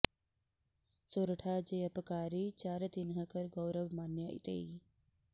सोरठा जे अपकारी चार तिन्ह कर गौरव मान्य तेइ